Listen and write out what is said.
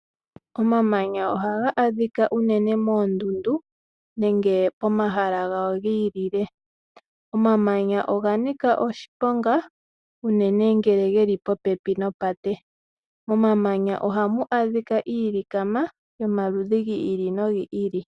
Omamanya ohaga adhika uunene moondunda nenge pomahala gawo gi ilile. Omamanya oga nika oshiponga uunene ngele geli popepi noteya. Momamanya ohamu adhika iilikama yomaludhi gi ili nogi ili.